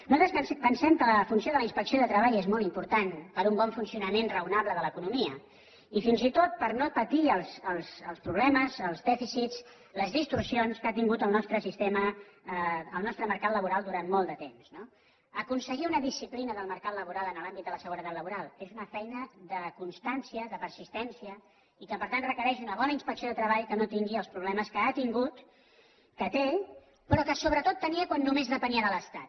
nosaltres pensem que la funció de la inspecció de treball és molt important per a un bon funcionament raonable de l’economia i fins i tot per no patir els problemes els dèficits les distorsions que ha tingut el nostre mercat laboral durant molt de temps no aconseguir una disciplina del mercat laboral en l’àmbit de la seguretat laboral és una feina de constància de persistència i que per tant requereix una bona inspecció de treball que no tingui els problemes que ha tingut que té però que sobretot tenia quan només depenia de l’estat